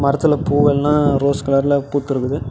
குளத்துல பூ எல்லாம் ரோஸ் கலர்ல பூத்திருக்குது.